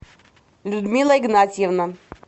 людмила игнатьевна